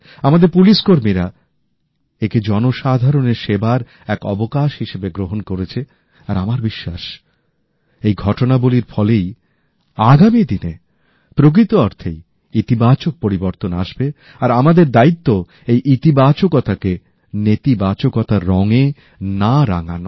আমাদের পুলিশকর্মীরা একে জনসাধারণের সেবার এক অবকাশ হিসেবে গ্রহণ করেছে আর আমার বিশ্বাসএই ঘটনাবলীর ফলেই আগামী দিনে প্রকৃত অর্থেই ইতিবাচক পরিবর্তন আসবে আর আমাদের দায়িত্ব এই ইতিবাচকতাকে নেতিবাচকতার রঙে না রাঙানো